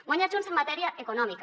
guanya junts en matèria econòmica